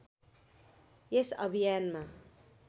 यस अभियानमा